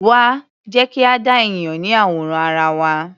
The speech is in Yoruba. Wá, jẹ́ kí a dá ènìyàn ní àwòrán ara wa.